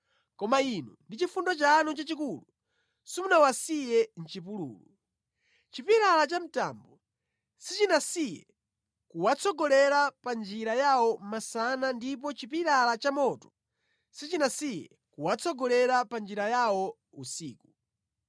“Koma Inu ndi chifundo chanu chachikulu, simunawasiye mʼchipululu. Chipilala cha mtambo sichinasiye kuwatsogolera pa njira yawo masana ndipo chipilala cha moto sichinasiye kuwatsogolera pa njira yawo usiku.